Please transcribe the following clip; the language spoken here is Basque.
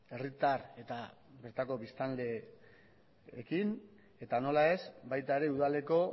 herritar eta bertako biztanleekin eta nola ez baita ere udaleko